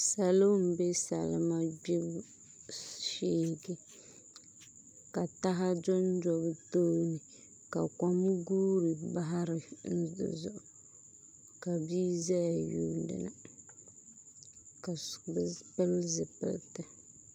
Salo n bɛ salima gbibu shee ka taha dondo bi tooni ka kon guuri bahari luri di zuɣu ka bia ʒɛya yuundili ka so pili zipiliti